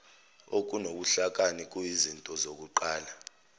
okunobuhlakani kuyizinto zokuqala